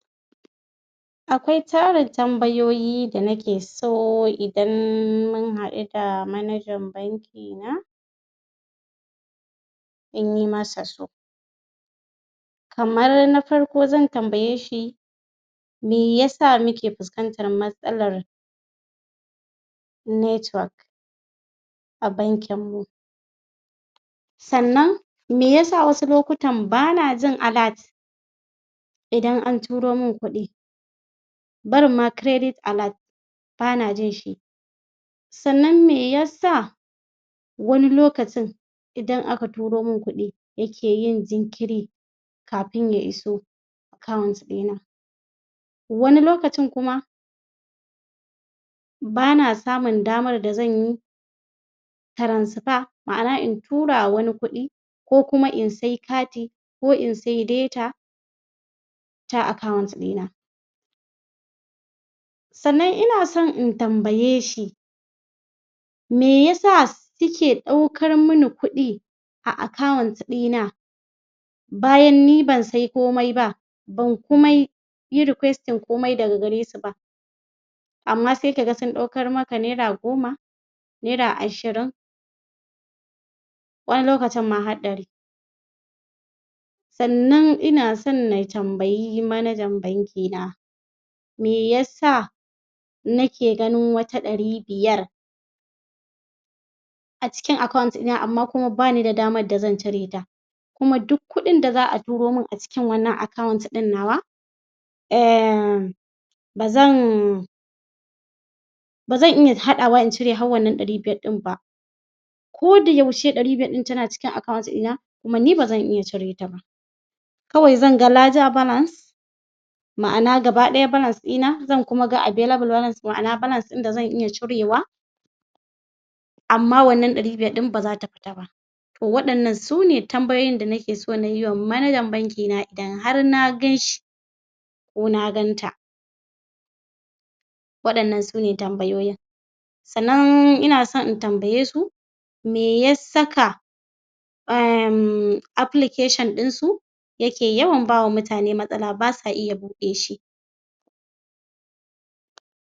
Akwai tarin tambayoyi da nike so idan mun haɗu da manajan bankina in yi masa kamar na farko zan tambaye shi mi ya sa muke fuskantar matsalar network a bankinmu. sannan me ya sa wasu lokutan ba na jin alert idan an turo man kuɗi barinma credit alert ba na jin shi sannan me ya sa wani lokacin idan aka turo man kuɗi yake yin jinkiri. kafin ya iso account ɗina wani lokacin kuma bana samun damar da zan yi transfer ma'ana in tura ma wani kuɗi. ko kuma in sai kati ko in sai data. ta account ɗina. sannan ina son in tambaye shi me ya sa suke ɗaukar mani kuɗi a account ɗina bayan ni ban sai komai ba, ban kuma yi requesting komai daga gare su ba amma sai ka ga sun ɗaukar maka naira goma naira ashirin wani lokacin ma har ɗari. Sannan ina son na tambayi manajan bankina me ya sa nake ganin wata ɗari biyar a cikin account ɗina kuma ba ni da damar da zan cire ta. kuma duk kuɗin da za a turo man a cikin wannan ɗin nawa um ba zan ba zan iya haɗawa in cire har wannan ɗari biyar ɗin nan ba ko da yaushe ɗari biyar ɗin tana cikin account ɗina kuma ni vbazan iya cire ta ba kawai zan ga ledger balance ma'ana gaba ɗaya balance ɗina zan kuma ga available valance ma'ana balance ɗin da zan iya cirwa. amma wannan ɗari biyar ɗin ba za ta fita ba. to waɗannan su ne tambayoyin d nake son na yi wa manajan bankina idan har na ganshi ko na ganta waɗannan sune tambayoyin sannan ina son in tambaye su me ya saka application ɗin su ya ke yawan ba wa mutane matsala ba sa iya buɗe shi.